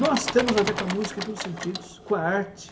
Nós temos a ver com a música em todos os sentidos, com a arte.